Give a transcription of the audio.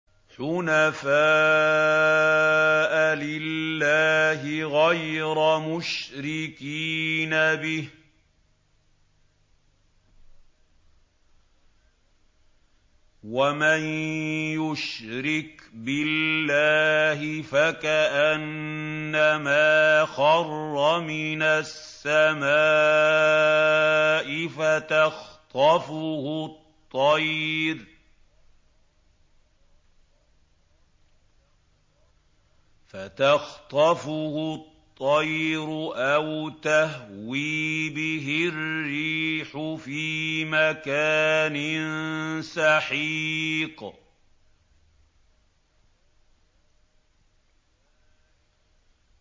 حُنَفَاءَ لِلَّهِ غَيْرَ مُشْرِكِينَ بِهِ ۚ وَمَن يُشْرِكْ بِاللَّهِ فَكَأَنَّمَا خَرَّ مِنَ السَّمَاءِ فَتَخْطَفُهُ الطَّيْرُ أَوْ تَهْوِي بِهِ الرِّيحُ فِي مَكَانٍ سَحِيقٍ